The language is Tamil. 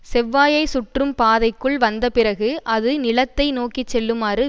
செவ்வாயைச் சுற்றும் பாதைக்குள் வந்தபிறகு அது நிலத்தை நோக்கிச்செல்லுமாறு